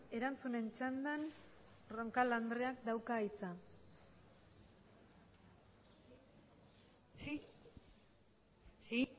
erantzunen txandan roncal andreak dauka hitza sí si